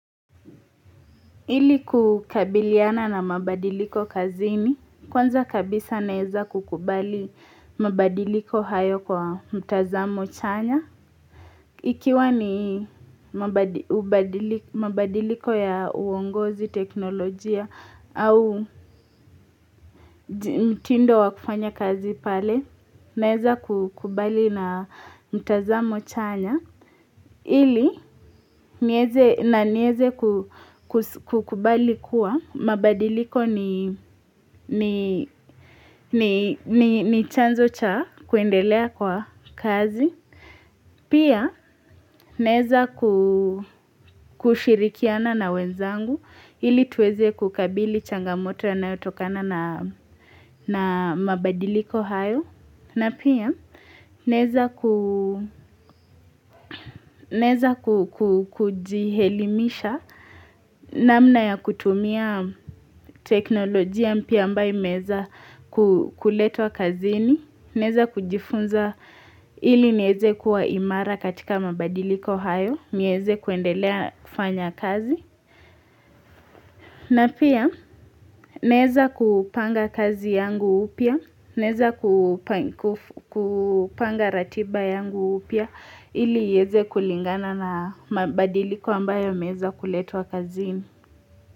Ili kukabiliana na mabadiliko kazini, kwanza kabisa naweza kukubali mabadiliko hayo kwa mtazamo chanya. Ikiwa ni mabadiliko ya uongozi teknolojia au mtindo wa kufanya kazi pale, naweza kukubali na mtazamo chanya. Ili, na niweze kukubali kuwa, mabadiliko ni chanzo cha kuendelea kwa kazi. Pia, naweza kushirikiana na wenzangu, ili tuweze kukabili changamoto yanayotokana na mabadiliko hayo. Na pia, naweza kujielimisha namna ya kutumia teknolojia mpya ambayo imeweza kuletwa kazini. Naweza kujifunza ili niweze kuwa imara katika mabadiliko hayo. Niweze kuendelea kufanya kazi. Na pia, neza kupanga kazi yangu upia. Neza kupanga ratiba yangu upia. Ili iweze kulingana na mabadiliko ambayo yameweza kuletwa kazini.